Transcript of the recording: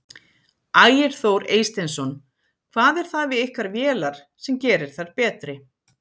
Ægir Þór Eysteinsson: Hvað er það við ykkar vélar sem gerir þær betri?